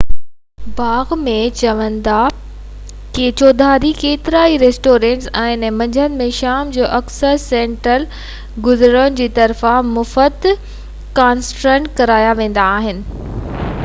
باغ جي چوڌاري ڪيترائي ريسٽورينٽس آهن ۽ منجهند ۽ شام جو اڪثر سينٽرل گزيبو جي طرفان مفت ڪانسرٽ ڪرايا ويندا آهن